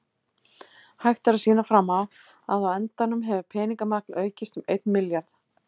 Hægt er að sýna fram á að á endanum hefur peningamagn aukist um einn milljarð.